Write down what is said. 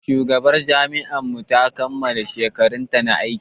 Shugaban jami'ar mu ta kammala shekarunta na aiki.